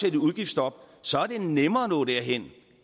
i et udgiftsstop så er det nemmere at nå derhen